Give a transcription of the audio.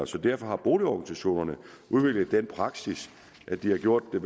så derfor har boligorganisationerne udviklet den praksis at de har gjort det